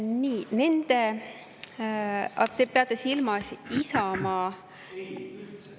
Nii, te peate silmas Isamaa …